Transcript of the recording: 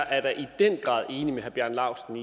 at herre bjarne laustsen